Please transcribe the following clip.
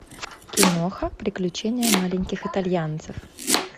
киноха приключения маленьких итальянцев